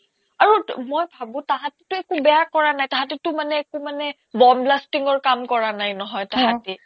আৰু টৌ মই ভাবো তাহাতেটো একো বেয়া কৰা নাই তাহাতেটো মানে একো মানে bomb blasting ৰ কাম কৰা নাই নহয় অ তাহাতে